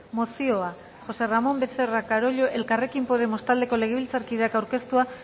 mozioa josé ramón becerra carollo elkarrekin podemos taldeko legebiltzarkideak aurkeztua